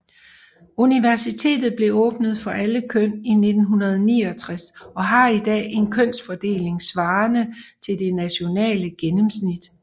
Universitetet blev åbnet for alle køn 1969 og har i dag en kønsfordeling svarende til det nationale gennemsnit